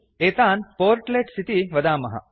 एतान् पोर्टलेट्स् इति वदामः